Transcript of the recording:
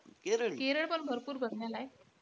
केरळ पण भरपूर बघण्यालायक आहे.